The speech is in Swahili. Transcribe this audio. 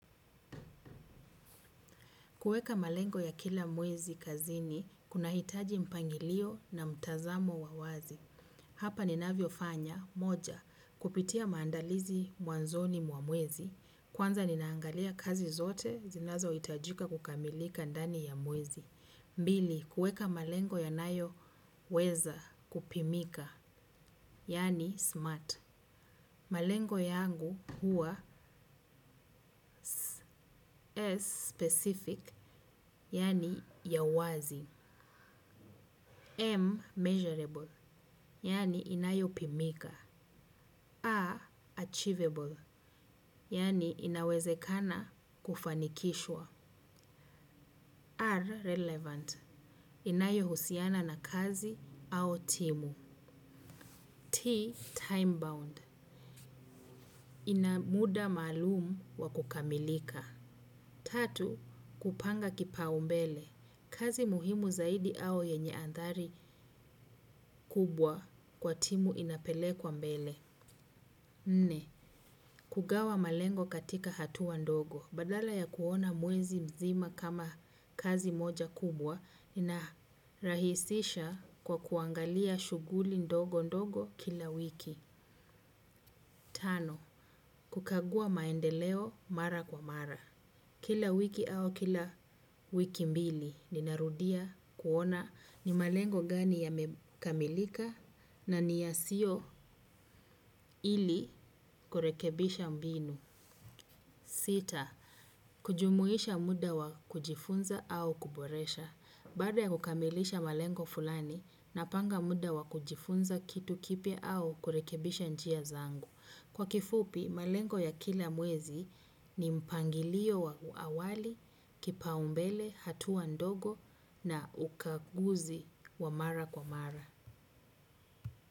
Kueka malengo ya kila mwezi kazini, kuna hitaji mpangilio na mtazamo wa wazi. Hapa ninavyo fanya, moja, kupitia maandalizi mwanzoni mwa mwezi. Kwanza ninaangalia kazi zote, zinazo hitajika kukamilika ndani ya mwezi. Mbili, kueka malengo ya nayo weza kupimika, yani smart. Malengo yangu huwa specific yani ya wazi M, measurable, yani inayo pimika. A, achievable, yani inawezekana kufanikishwa. R, relevant, inayo husiana na kazi au timu. T, time bound, inamuda maalumu wa kukamilika. Tatu, kupanga kipa umbele, kazi muhimu zaidi au yenye andhari kubwa kwa timu inapelekwa mbele. Nne, kugawa malengo katika hatua ndogo. Badala ya kuona mwezi mzima kama kazi moja kubwa, nina rahisisha kwa kuangalia shuguli ndogo ndogo kila wiki. Tano, kukagua maendeleo mara kwa mara. Kila wiki au kila wiki mbili ninarudia kuona ni malengo gani yamekamilika na ni yasiyo ili kurekebisha mbinu sita. Kujumuisha muda wa kujifunza au kuboresha. Baada ya kukamilisha malengo fulani, napanga muda wa kujifunza kitu kipya au kurekebisha njia zangu. Kwa kifupi, malengo ya kila mwezi ni mpangilio wa awali, kipaumbele, hatua ndogo na ukaguzi wa mara kwa mara.